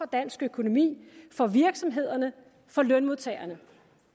dansk økonomi for virksomhederne for lønmodtagerne